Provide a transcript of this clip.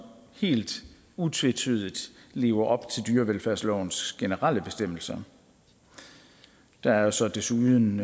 helt utvetydigt lever op til dyrevelfærdslovens generelle bestemmelser der er så desuden